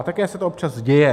A také se to občas děje.